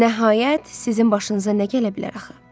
Nəhayət sizin başınıza nə gələ bilər axı?